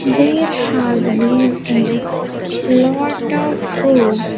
There has been a lot of foods.